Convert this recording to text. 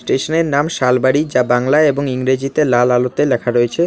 টেশানের নাম শালবাড়ি যা বাংলায় এবং ইংরেজিতে লাল আলোতে ল্যাখা রয়েছে।